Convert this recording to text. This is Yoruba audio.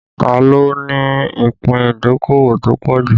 Ta ló ní ìpín ìdókòwò tó pọ̀ jù?